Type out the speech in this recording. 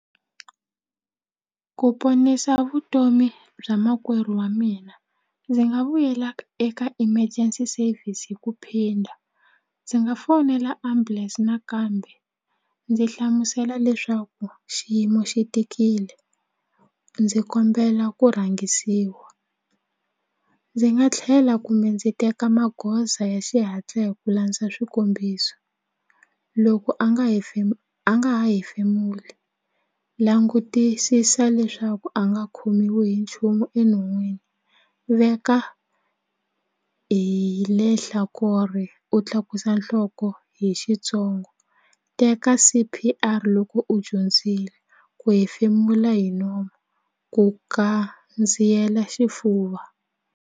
Ku ponisa vutomi bya makwerhu wa mina ndzi nga vuyela eka emergency service hi ku phinda ndzi nga fonela ambulense nakambe ndzi hlamusela leswaku xiyimo xi tikile ndzi kombela ku rhangisiwa ndzi nga tlhela kumbe ndzi teka magoza ya xihatla hi ku landza swikombiso loko a nga a nga ha hefemula langutisisa leswaku a nga khomiwi hi nchumu enon'wini veka hi u tlakusa nhloko ku hi xitsongo teka C_P_R loko u dyondzile ku hefemula hi nomu ku kandziyela xifuva.